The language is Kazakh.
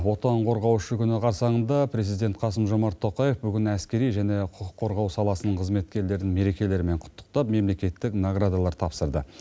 отан қорғаушы күні қарсыңында президент қасым жомарт тоқаев бүгін әскери және құқық қорғау саласының қызметкерлерін мерекелерімен құттықтап мемлекеттік наградалар табыстады